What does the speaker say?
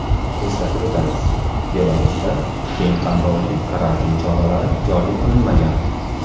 Eslatib o‘tamiz, Belarusda keng qamrovli karantin choralari joriy qilinmagan.